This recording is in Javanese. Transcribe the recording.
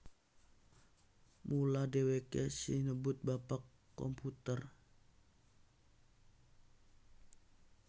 Mula dheweke sinebut Bapak Komputer